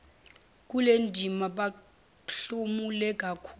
kulendima bahlomule kakhulu